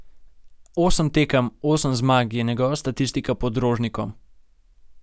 Osem tekem, osem zmag, je njegova statistika pod Rožnikom.